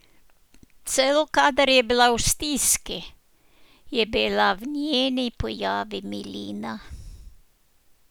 Celo kadar je bila v stiski, je bila v njeni pojavi milina.